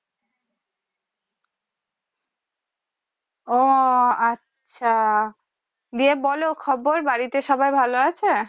ও আচ্ছা বলো খবর বাড়িতে সবাই ভালো আছে